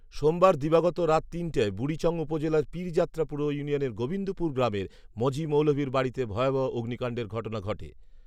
সোমবার দিবাগত রাত তিনটায় বুড়িচং উপজেলার পীর যাত্রা পুর ইউনিয়নের গোবিন্দপুর গ্রামের মজি মৌলভীর বাড়িতে ভয়াভহ অগ্নিকাণ্ডের ঘটনা ঘটে